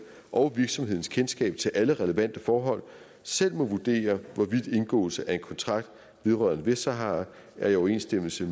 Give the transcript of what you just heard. og virksomhedens kendskab til alle relevante forhold selv må vurdere hvorvidt indgåelse af en kontrakt vedrørende vestsahara er i overensstemmelse